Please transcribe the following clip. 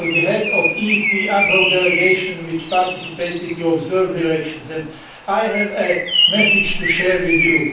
I was the head of the EP ad hoc delegation which participated in observing the elections, and I have a message to share with you.